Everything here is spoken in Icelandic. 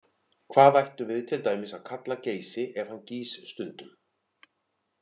Hvað ættum við til dæmis að kalla Geysi ef hann gýs stundum?